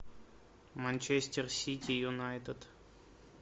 манчестер сити юнайтед